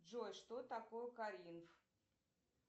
джой что такое каринф